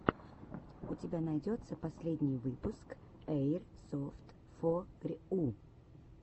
у тебя найдется последний выпуск эйрсофтфорйу